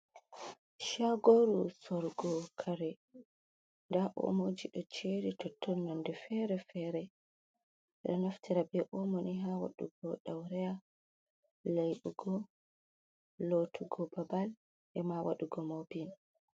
Shagoru sorugo kare, da omoji do jeri tontonnonde fere fere ,mindo naftira be omo ha wadugo daureya laibugo lotugo babal, ema wadugo mopping.